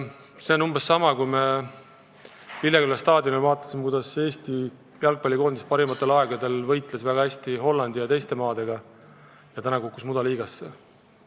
See on umbes sama, kui me Lilleküla staadionil vaatasime, kuidas Eesti jalgpallikoondis parimatel aegadel võitles väga tublilt Hollandi ja teiste jalgpallimaadega, nüüd aga on kukkunud mudaliigasse.